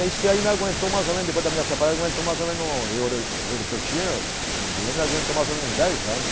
Aí isso aí me aguentou mais ou menos, depois da minha separação, me aguentou mais ou menos um, o ouro que eu tinha, o dinheiro me aguentou mais ou menos uns dez anos.